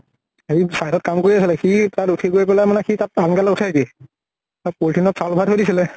সেই side ত কাম কৰি আছিলে । সি তাত উঠি গৈ পেলাই মানে তাত উঠাই দিয়ে । তাত polythene চাউল ভৰাই থৈ দিছিলে ।